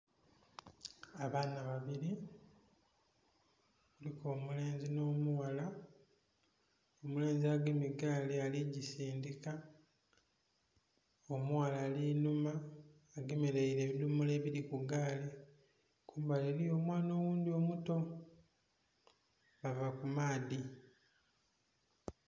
Abaana babiri kuliku omulenzi n'omughala, omulenzi agemye gaali aligisindhika omughala ali inhuma agemerere ebidhomolo ebiri ku gaali kumbali eriyo omwana oghundhi omuto bava ku maadhi.